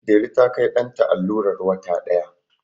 Delu ta Kai ɗanta allurar wata ɗaya